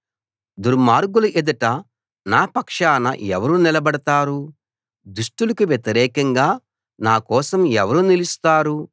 దుర్మార్గుల ఎదుట నా పక్షాన ఎవరు నిలబడతారు దుష్టులకు వ్యతిరేకంగా నా కోసం ఎవరు నిలుస్తారు